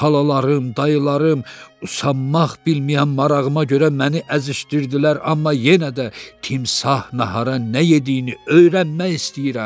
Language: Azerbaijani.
Xalalarım, dayılarım usanmaq bilməyən marağıma görə məni əzişdirdilər, amma yenə də timsah nahara nə yediyini öyrənmək istəyirəm.